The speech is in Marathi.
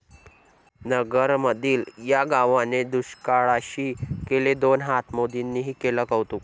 नगरमधील 'या' गावाने दुष्काळाशी केले दोन हात, मोदींनीही केलं कौतुक